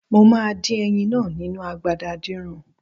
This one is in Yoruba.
Mo máa dín ẹyin náà nínu agbada adínran.